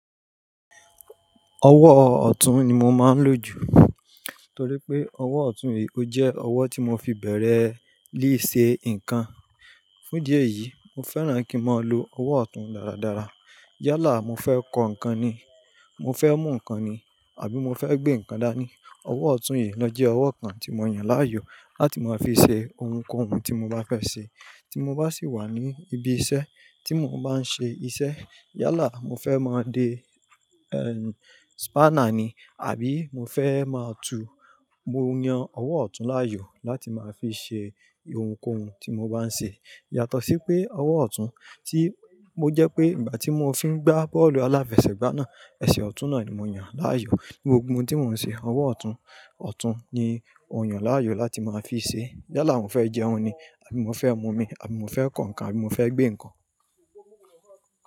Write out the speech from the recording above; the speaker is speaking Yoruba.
Ọwọ́ ọ̀tún ni mo máa ń lò jù. Torí pé ọwọ́ ọ̀tún yìí ó jẹ́ ọwọ́ tí mo fi bẹ̀rẹ̀ líṣẹ nǹkan. Fún dí eyí, mo fẹ́ràn kí mo lo ọwọ́ ọ̀tún dáradára. Yálà mo fẹ́ kó ǹkan ni, mo fẹ́ mú ǹkan ni, àbí mo fẹ́ gbé ǹkan dá ní, ọwọ́ ọ̀tún yìí lọ́ jẹ́ ọwọ́ kan tí mo yàn láàyò láti máa fi ṣe ohunkóhun tí mo bá fẹ́ ṣe. Tí mo bá sì wà ní ibi iṣẹ́ tí mo bá n ṣe iṣẹ́. Yálà mo fẹ́ máa de, ẹ́ n, spana ni, àbí mo fẹ́ máa tu, mo yan ọwọ́ ọ̀tún láàyò láti máa fi ṣe ohunkóhun tí mo bá ń ṣe. Yàtọ̀ sí pé ọwọ́ ọ̀tún tí mo jẹ́ pé ìgbà tí mo fi ń gbá bọ́ọ̀lù aláfẹsẹ̀gbá náà, ẹsẹ̀ ọ̀tún náà ni mo yàn láàyò. Gbogbo ohun tí mo ń ṣe, ọwọ́ ọ̀tún, ọ̀tún ni mo yàn láàyò láti máa fi ṣe. Yálà mo fẹ́ jẹun ni, àbí mo fẹ́ mu omi, àbí mo fẹ́ kó ǹkan, àbí mo fẹ́ gbé ǹkan.